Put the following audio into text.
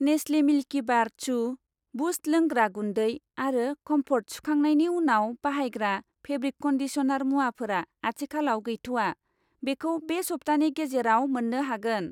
नेस्लि Milkybar चु, Boost लोंग्रा गुन्दै आरो कम्फर्ट सुखांनायनि उनाव बाहायग्रा फेब्रिक कन्दिसनार मुवाफोरा आथिखालाव गैथ'आ, बेखौ बे सप्तानि गेजेराव मोन्नो हागोन।